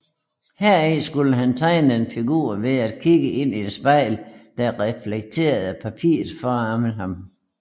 Heri skulle han tegne en figur ved at kigge ind i et spejl der reflekterede papiret foran ham